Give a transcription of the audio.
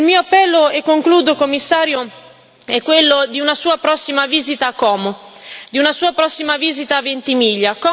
Il mio appello, e concludo, Commissario, è quello di una sua prossima visita a Como, di una sua prossima visita a Ventimiglia.